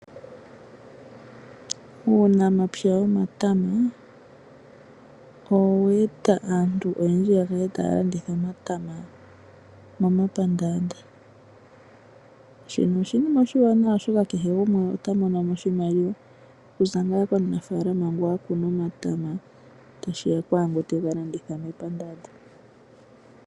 Uunamapya womatama oweeta aantu oyendji yakale taalanditha omatama momapandaanda shino oshiima oshiwa nawa oshoka oto monomo oshimaliwa, kuza ngaa kumunafaalama ngu akuna sigo okwaangu tega landitha momapandaanda.